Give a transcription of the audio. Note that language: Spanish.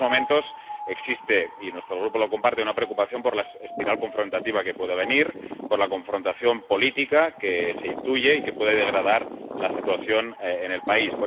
En estos momentos existe —y nuestro Grupo la comparte— una preocupación por la espiral confrontativa que puede venir, por la confrontación política que se intuye y que puede degradar la situación en el país.